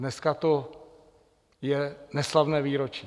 Dneska je to neslavné výročí.